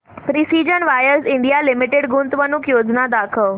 precision wires India limited गुंतवणूक योजना दाखव